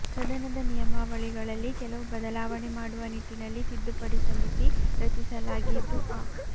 ಸದನದ ನಿಯಮಾವಳಿಗಳಲ್ಲಿ ಕೆಲವು ಬದಲಾವಣೆ ಮಾಡುವ ನಿಟ್ಟಿನಲ್ಲಿ ತಿದ್ದುಪಡಿ ಸಮಿತಿ ರಚಿಸಲಾಗಿದ್ದು ಅ